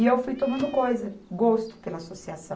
E eu fui tomando coisa, gosto pela associação.